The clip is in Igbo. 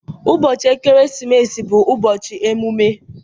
Ụbọchị ekeresimesi bụ ụbọchị emume.